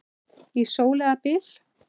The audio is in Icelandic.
Í sól eða byl.